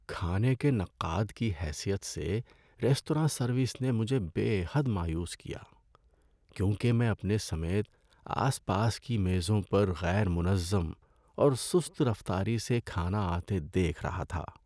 ‏کھانے کے نقاد کی حیثیت سے، ریستوراں سروس نے مجھے بے حد مایوس کیا کیونکہ میں اپنے سمیت آس پاس کی میزوں پر غیر منظم اور سست رفتاری سے کھانا آتے دیکھ رہا تھا۔